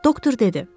Doktor dedi.